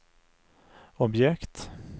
objekt